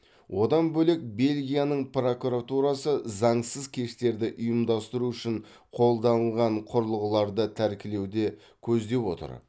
одан бөлек белгияның прокуратурасы заңсыз кештерді ұйымдастыру үшін қолданылған құрылғыларды тәркілеуде көздеп отыр